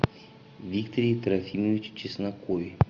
викторе трофимовиче чеснокове